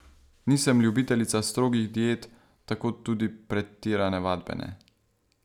Nisem ljubiteljica strogih diet, tako tudi pretirane vadbe ne.